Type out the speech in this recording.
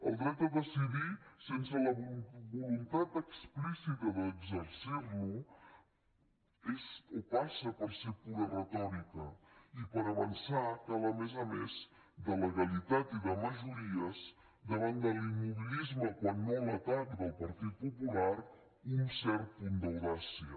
el dret a decidir sense la voluntat explícita d’exercir lo és o passa per ser pura retòrica i per avançar cal a més a més de legalitat i de majories davant de l’immobilisme quan no l’atac del partit popular un cert punt d’audàcia